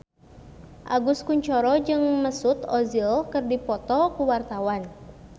Agus Kuncoro jeung Mesut Ozil keur dipoto ku wartawan